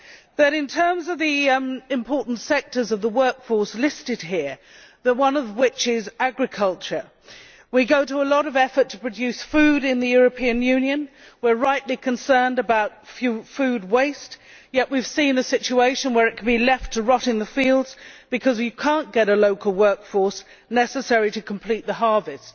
But in terms of the important sectors of the workforce listed here, one of which is agriculture, we go to a lot of effort to produce food in the European Union and we are rightly concerned about food waste, yet we have seen a situation where it can be left to rot in the fields because we cannot get a local workforce necessary to complete the harvest.